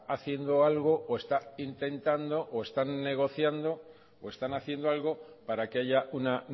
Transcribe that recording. haciendo algo o está intentando o están negociando o están haciendo algo para que haya una